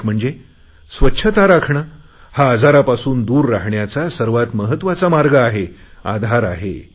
एक म्हणजे स्वच्छता राखणे हा आजारापासून दूर राहण्याचा सर्वात महत्त्वाचा मार्ग आहे आधार आहे